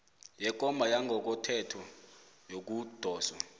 sekomba yangokothetho yokudoswa